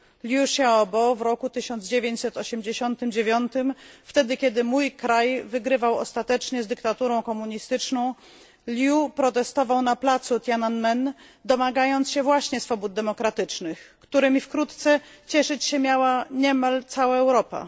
Liu Xiaobo w roku 1989 wtedy, kiedy mój kraj wygrywał ostatecznie z dyktaturą komunistyczną protestował na placu Tiananmen, domagając się właśnie swobód demokratycznych, którymi wkrótce cieszyć się miała niemal cała Europa.